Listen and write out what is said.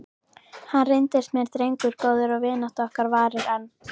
Hann reyndist mér drengur góður og vinátta okkar varir enn.